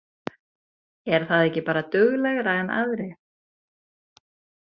Er það ekki bara duglegra en aðrir?